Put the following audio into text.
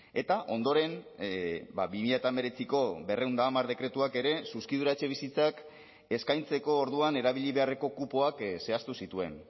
eta ondoren bi mila hemeretziko berrehun eta hamar dekretuak ere zuzkidura etxebizitzak eskaintzeko orduan erabili beharreko kupoak zehaztu zituen